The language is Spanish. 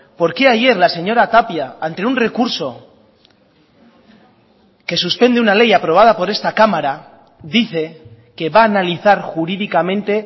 por qué ayer la señora tapia ante un recurso que suspende una ley aprobada por esta cámara dice que va a analizar jurídicamente